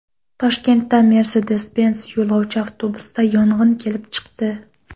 Toshkentda Mercedes-Benz yo‘lovchi avtobusida yong‘in kelib chiqdi.